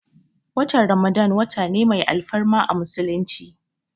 Watan ramadan wata ne mai alfarma a musulunci